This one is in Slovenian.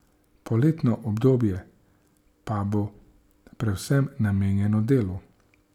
Poletno obdobje pa bo predvsem namenjeno delu.